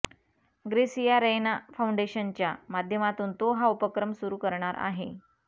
gratia Raina फाउंडेशनच्या माध्यमातून तो हा उपक्रम सुरू करणार आहे